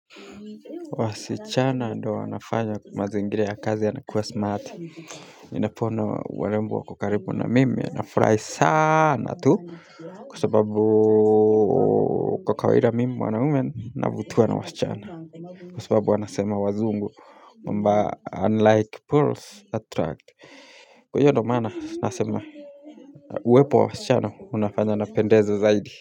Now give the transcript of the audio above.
Wasichana ndo wanafanya mazingiria kazi yana kuwa smarti Napoona warembo wako karibu na mimi nafurahi sanaaaaaaaa tu kwa sababuuuuuuu kwa kawaida mimi mwanaume navutiwa na wasichana Kwasababu wanasema wazungu kwamba unlike poles attract Kwa hiyo ndo maana nasema uuu,,,, uwepo wa wasichana unafanya napendeza zaidi.